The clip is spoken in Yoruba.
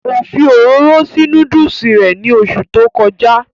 Kò fi òróró sí núdùsì rẹ̀ ní oṣù tó kọjá